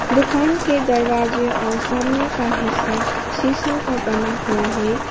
दुकान के दरवाजे और सामने का हिस्सा शीशा का बना हुआ है।